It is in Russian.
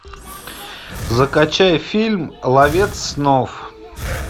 закачай фильм ловец снов